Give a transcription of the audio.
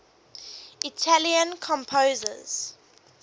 italian composers